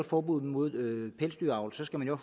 forbud mod pelsdyravl så skal man jo